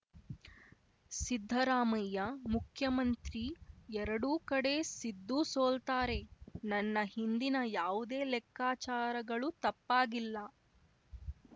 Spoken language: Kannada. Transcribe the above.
ಸಿದ್ದರಾಮಯ್ಯ ಮುಖ್ಯಮಂತ್ರಿ ಎರಡೂ ಕಡೆ ಸಿದ್ದು ಸೋಲ್ತಾರೆ ನನ್ನ ಹಿಂದಿನ ಯಾವುದೇ ಲೆಕ್ಕಾಚಾರಗಳು ತಪ್ಪಾಗಿಲ್ಲ